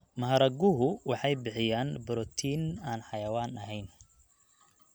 Maharaguhu waxay bixiyaan borotiin aan xayawaan ahayn.